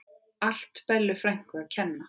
Allt Bellu frænku að kenna.